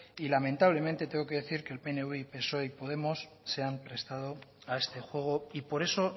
y lamentablemente tengo que decir que el pnv y psoe y podemos se han prestado a este juego y por eso